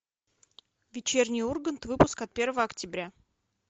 вечерний ургант выпуск от первого октября